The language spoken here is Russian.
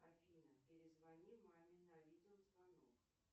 афина перезвони маме на видеозвонок